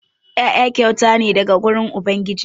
Ƴaƴa kyauta ne daga wurin ubangiji.